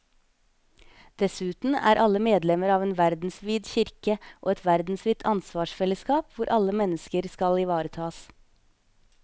Dessuten er alle medlemmer av en verdensvid kirke og et verdensvidt ansvarsfellesskap hvor alle mennesker skal ivaretas.